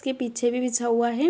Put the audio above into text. उसके पीछे भी बिछा हुआ है।